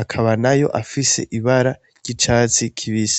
akaba nayo afise ibara ry'icatsi kibisi.